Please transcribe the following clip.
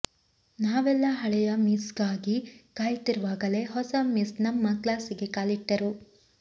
ನಾವೆಲ್ಲ ಹಳೆಯ ಮಿಸ್ಗಾಗಿ ಕಾಯುತ್ತಿರುವಾಗಲೇ ಹೊಸ ಮಿಸ್ ನಮ್ಮ ಕ್ಲಾಸಿಗೆ ಕಾಲಿಟ್ಟರು